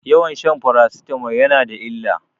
Yawan shan farasitamol yana da illa.